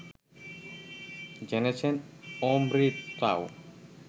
জেনেছেন অমৃতাও